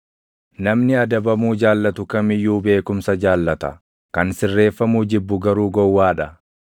Namni adabamuu jaallatu kam iyyuu beekumsa jaallata; kan sirreeffamuu jibbu garuu gowwaa dha.